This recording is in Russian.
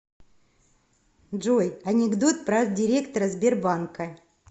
джой анекдот про директора сбербанка